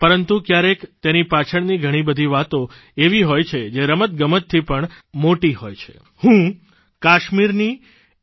પરંતુ ક્યારેક ક્યાકેર તેની પાછળની ઘણી બધી વાતો એવી હોય છે જે રમતગમતથી પણ આગળ વધીને એવી હોય છે જે રમતજગતથી પણ આગળ વધીને હોય છે ઘણી મોટી હોય છે